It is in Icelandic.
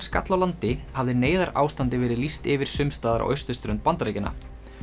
skall á landi hafði neyðarástandi verið lýst yfir sums staðar á austurströnd Bandaríkjanna